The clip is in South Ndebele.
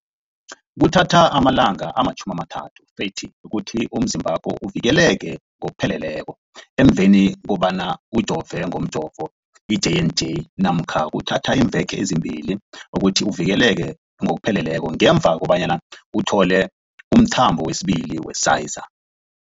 Kuthatha amalanga ama-30 ukuthi umzimbakho uvikeleke ngokupheleleko emveni kobana ujove ngomjovo i-J and J namkha kuthatha iimveke ezimbili ukuthi uvikeleke ngokupheleleko ngemva kobana uthole umthamo wesibili wePfizer.